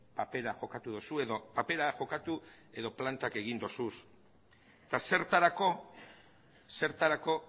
papera jokatu duzu edo papera jokatu edo plantak egin dituzu eta zertarako zertarako